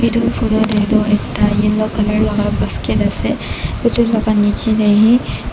basket ase etu laga niche te he.